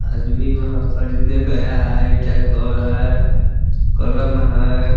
आदमी वहाँ खरीदने गया है | ईटा का घर है कलम है ।